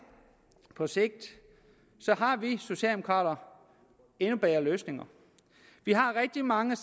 på sigt har vi socialdemokrater endnu bedre løsninger vi har rigtig mange